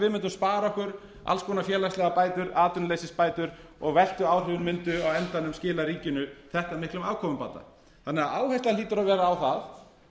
við mundum spara okkur alls konar félagslegar bætur atvinnuleysisbætur og verstu áhrifin mundu á endanum skila ríkinu þetta miklum afkomubata þannig að áherslan hlýtur að vera á það